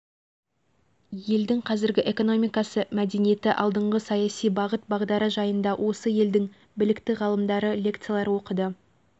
жылдың қаңтар айындағы төңкерістен кейін иран халқы өз еркімен ислам жолын таңдап алғаны тарихтан жақсы мәлім